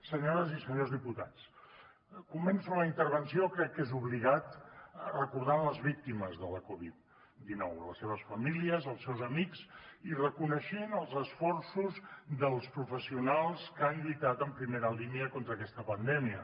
senyores i senyors diputats començo la intervenció crec que és obligat recordant les víctimes de la covid dinou les seves famílies els seus amics i reconeixent els esforços dels professionals que han lluitat en primera línia contra aquesta pandèmia